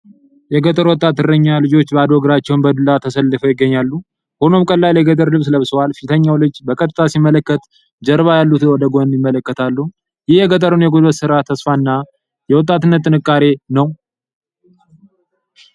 የገጠር ወጣት እረኛ ልጆች ባዶ እግራቸውን በዱላ ተሰልፈው ይገኛሉ። ሁሉም ቀላል የገጠር ልብስ ለብሰዋል። ፊተኛው ልጅ በቀጥታ ሲመለከት፣ ጀርባ ያሉት ወደ ጎን ይመለከታሉ። ይህ የገጠሩን የጉልበት ሥራ፣ ተስፋና የወጣትነት ጥንካሬ ነው።